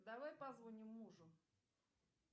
давай позвоним мужу